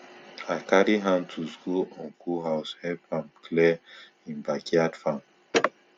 i carry hand tools go uncle house help am clear him backyard farm